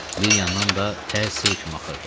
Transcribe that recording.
Bir yandan da tər sel kimi axırdı.